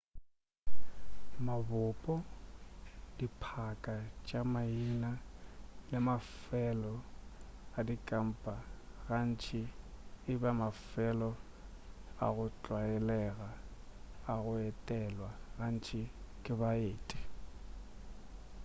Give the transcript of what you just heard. mabopo diphaka tša maina le mafelo a dikampa gantši e ba mafelo a go tlwaelega a go etelwa gantši ke baeti